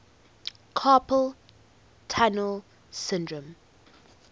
carpal tunnel syndrome